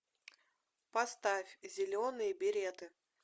поставь зеленые береты